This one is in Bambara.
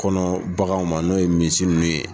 Kɔnɔ bagan ma n'o ye misi ninnu ye.